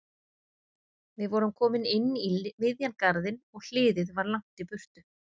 Við vorum komin inn í miðjan garðinn og hliðið var langt í burtu.